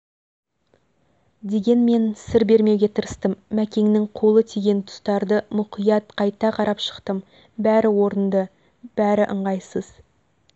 дегенмен сыр бермеуге тырыстым мәкеңнің қолы тиген тұстарды мұқият қайта қарап шықтым бәрі орынды бәір ыңғайсызы